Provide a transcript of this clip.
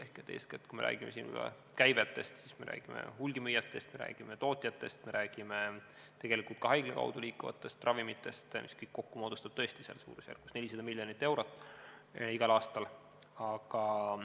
Ehk eeskätt, kui me räägime käivetest, siis me räägime hulgimüüjatest, me räägime tootjatest, me räägime tegelikult ka haigla kaudu liikuvatest ravimitest, mis kõik kokku moodustab tõesti suurusjärgus 400 miljonit eurot igal aastal.